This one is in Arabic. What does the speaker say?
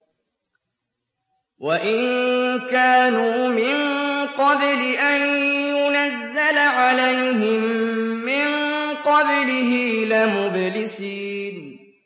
وَإِن كَانُوا مِن قَبْلِ أَن يُنَزَّلَ عَلَيْهِم مِّن قَبْلِهِ لَمُبْلِسِينَ